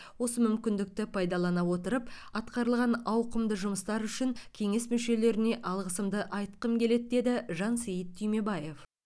осы мүмкіндікті пайдалана отырып атқарылған ауқымды жұмыстар үшін кеңес мүшелеріне алғысымды айтқым келеді деді жансейіт түймебаев